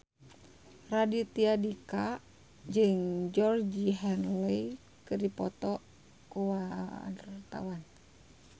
Raditya Dika jeung Georgie Henley keur dipoto ku wartawan